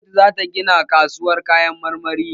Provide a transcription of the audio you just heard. Gwamnati za ta gina babban kasuwar Kayan marmari